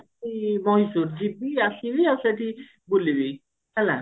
ମୟୀଶୁର ଯିବି ଆସିବି ଆଉ ସେଠି ବୁଲିବି ହେଲା